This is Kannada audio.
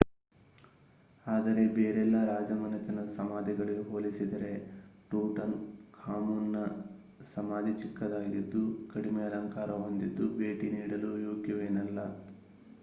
ಆದರೆ ಬೇರೆಲ್ಲಾ ರಾಜಮನೆತನದ ಸಮಾಧಿಗಳಿಗೆ ಹೋಲಿಸಿದರೆ ಟೂಟನ್ ಖಾಮುನ್ನ ಸಮಾಧಿ ಚಿಕ್ಕದಾಗಿದ್ದು ಕಡಿಮೆ ಅಲಂಕಾರ ಹೊಂದಿದ್ದು ಭೇಟಿ ನೀಡಲು ಯೋಗ್ಯವೇನಲ್ಲ